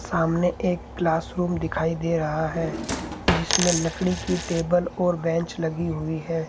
सामने एक class room दिखाई दे रहा है जिसमें लकड़ी की टेबल और बेंच लगी हुई है।